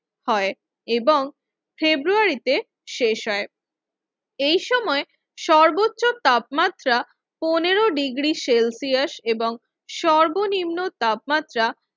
হয় এবং ফেব্রুয়ারিতে শেষ হয় এই সময় সর্বোচ্চ তাপমাত্রা পনেরো ডিগ্রি সেলসিয়াস এবং সর্বনিম্ন তাপমাত্রা